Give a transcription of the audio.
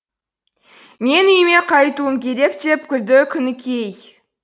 мен үйіме қайтуым керек деп күлді күнікей